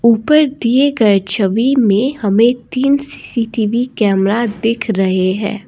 ऊपर दिए गए छवि में हमें तीन सी_सी_टी_वी कैमरा दिख रहे हैं।